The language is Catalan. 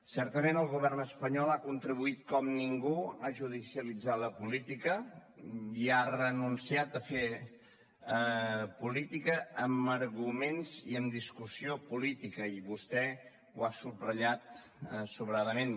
certament el govern espanyol ha contribuït com ningú a judicialitzar la política i ha renunciat a fer política amb arguments i amb discussió política i vostè ho ha subratllat sobradament